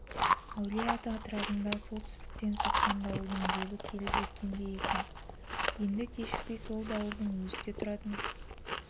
әулие-ата атырабына солтүстіктен соққан дауылдың лебі келіп жеткендей екен енді кешікпей сол дауылдың өзі де тұратын